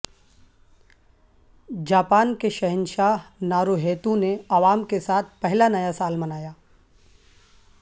Japan کے شہنشاہ Naruhito نے عوام کے ساتھ پہلا نیا سال منایا